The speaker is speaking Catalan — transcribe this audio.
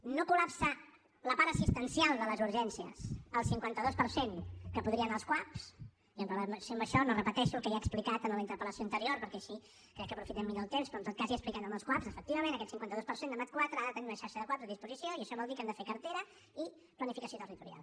no col·lapsa la part assistencial de les urgències el cinquanta dos per cent que podria anar als cuap i amb relació a això no repeteixo el que ja he explicat en la interpel·lació anterior perquè així crec que aprofitem millor temps però en tot cas ja ho he explicat amb els cuap efectivament aquest cinquanta dos per cent de mat iv ha de tenir una xarxa de cuap a disposició i això vol dir que hem de fer cartera i planificació territorial